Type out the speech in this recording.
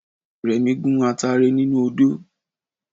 Remi gun atare nínú odó